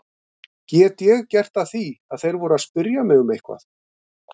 Get ég gert að því að þeir voru að spyrja mig um eitthvað?